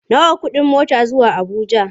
Nawa kuɗin mota zuwa Abuja?